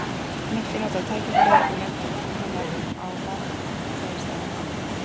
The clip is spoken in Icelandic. Nikki notaði tækifærið og nefndi nafn hennar á varfærnislegan hátt.